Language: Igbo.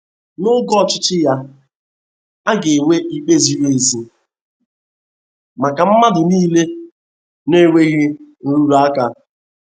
N'oge ọchịchị ya, a ga-enwe ikpe ziri ezi maka mmadụ niile, na-enweghị nrụrụ aka.